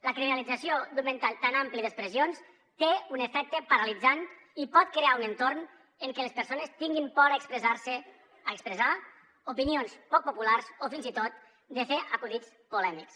la criminalització d’un ventall tan ampli d’expressions té un efecte paralitzant i pot crear un entorn en què les persones tinguin por a expressar se a expressar opinions poc populars o fins i tot de fer acudits polèmics